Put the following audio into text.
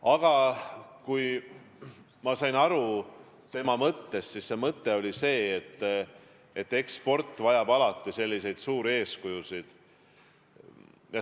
Aga kui ma sain tema mõttest õigesti aru, siis mõte oli see, et sport vajab alati suuri eeskujusid.